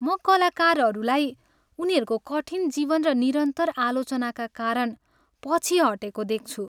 म कलाकारहरूलाई उनीहरूको कठिन जीवन र निरन्तर आलोचनाका कारण पछि हटेको देख्छु।